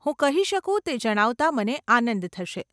હું કહી શકું તે જણાવતાં મને આનંદ થશે.